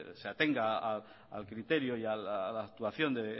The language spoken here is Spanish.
se atenga al criterio y a la actuación de